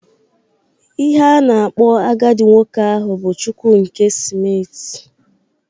Ihe a na-akpọ agadi nwoke ahụ bụ Chukwu nke smiti